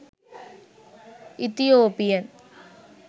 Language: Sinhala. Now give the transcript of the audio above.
ethiopian